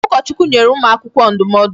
Ụkọchukwu nyere ụmụ akwụkwọ ndụmọdụ.